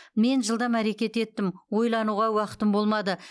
мен жылдам әрекет еттім ойлануға уақытым болмады